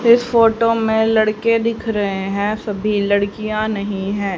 इस फोटो में लड़के दिख रहे हैं सभी लड़कियां नहीं हैं।